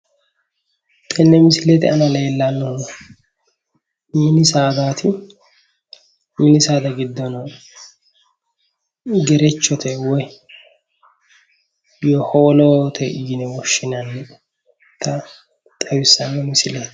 Tenne misilete aana leellannohu mini saadaati mini saada giddono gerechote yaate woy howoolote yine woshshinannita xawissanno misileeti